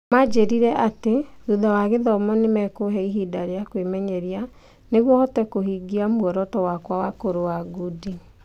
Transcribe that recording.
Maanjĩrire atĩ thutha wa gĩthomo nĩ mekũhe ihinda rĩa kwĩmenyeria nĩguo hote kũhingia muoroto wakwa wa kũrũa ngundi.